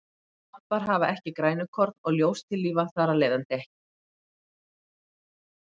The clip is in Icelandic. svampar hafa ekki grænukorn og ljóstillífa þar af leiðandi ekki